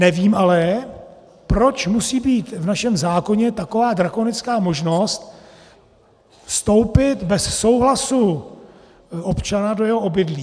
Nevím ale, proč musí být v našem zákoně taková drakonická možnost vstoupit bez souhlasu občana do jeho obydlí.